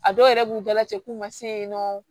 A dɔw yɛrɛ b'u dalajɛ k'u ma se yen nɔ